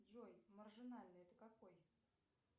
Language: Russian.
джой маржинальный это какой